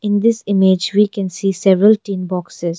In this image we can see several tin boxes.